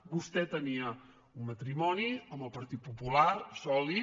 vostè tenia un matrimoni amb el partit popular sòlid